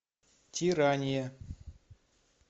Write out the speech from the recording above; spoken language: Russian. тирания